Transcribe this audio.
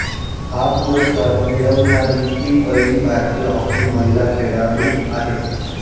हा पुरस्कार मिळवणारी ती पहिली भारतीय हॉकी महिला खेळाडू आहे